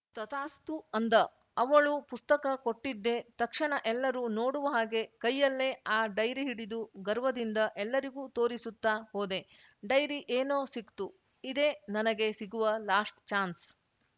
ತಥಾಸ್ತು ಅಂದ ಅವಳು ಪುಸ್ತಕ ಕೊಟ್ಟಿದ್ದೇ ತಕ್ಷಣ ಎಲ್ಲರೂ ನೋಡುವ ಹಾಗೆ ಕೈಯಲ್ಲೇ ಆ ಡೈರಿ ಹಿಡಿದು ಗರ್ವದಿಂದ ಎಲ್ಲರಿಗೂ ತೋರಿಸುತ್ತಾ ಹೋದೆ ಡೈರಿ ಏನೋ ಸಿಕ್ತು ಇದೇ ನನಗೆ ಸಿಗುವ ಲಾಸ್ಟ್‌ ಚಾನ್ಸ್‌